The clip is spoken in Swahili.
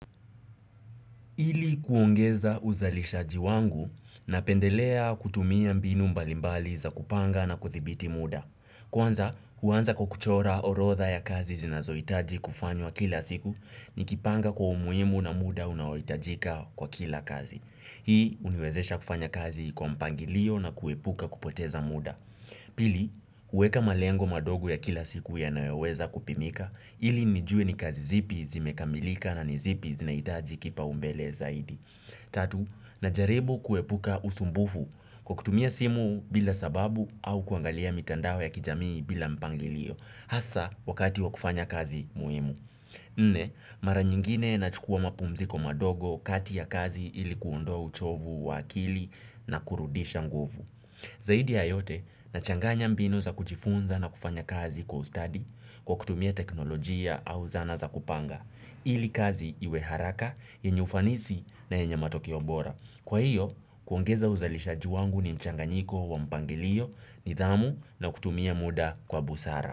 Ili kuongeza uzalishaji wangu, napendelea kutumia mbinu mbali mbali za kupanga na kuthibiti muda. Kwanza, huanza kwa kuchora orodha ya kazi zinazohitaji kufanywa kila siku, nikipanga kwa umuhimu na muda unaohitajika kwa kila kazi. Hii huniwezesha kufanya kazi kwa mpangilio na kuepuka kupoteza muda pili, huweka malengo madogo ya kila siku yanayoweza kupimika, ili nijue ni kazi zipi zimekamilika na ni zipi zinahitaji kipaumbele zaidi. Tatu, najaribu kuepuka usumbufu, kwa kutumia simu bila sababu au kuangalia mitandao ya kijamii bila mpangilio, hasa, wakati wa kufanya kazi muhimu. Nne, mara nyingine nachukua mapumziko madogo, kati ya kazi, ili kuondoa uchovu wa akili na kurudisha nguvu. Zaidi ya yote, nachanganya mbinu za kujifunza na kufanya kazi kwa ustadi kwa kutumia teknolojia au zana za kupanga. Ili kazi iwe haraka yenye ufanisi na yenye matokeo bora. Kwa hiyo, kuongeza uzalishaji wangu ni mchanganyiko wa mpangilio, nidhamu, na kutumia muda kwa busara.